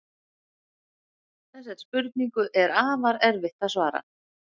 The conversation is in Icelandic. Þessari spurningu er afar erfitt að svara.